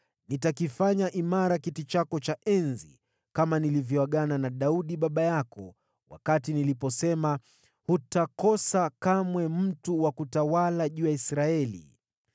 Nitakiimarisha kiti chako cha enzi kama nilivyoagana na Daudi baba yako niliposema, ‘Hutakosa kamwe mtu wa kutawala juu ya Israeli.’